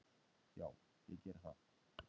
"""Já, ég geri það."""